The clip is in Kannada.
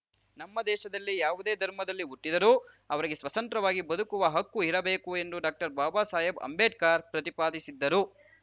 ನಮ್ಮದೇಶದಲ್ಲಿ ಯಾವದೇ ಧಮರ್‍ದಲ್ಲಿ ಹುಟ್ಟಿದ್ದರೂ ಅವರಿಗೆ ಸ್ವಸಂತ್ರವಾಗಿ ಬದಕುವ ಹಕ್ಕು ಇರಬೇಕು ಎಂದು ಡಾಕ್ಟರ್ಬಾಬಾ ಸಾಹೇಬ್‌ ಅಂಬೇಡ್ಕರ್‌ ಪ್ರತಿಪಾದಿಸಿದ್ದರು